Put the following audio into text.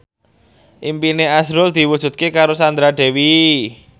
impine azrul diwujudke karo Sandra Dewi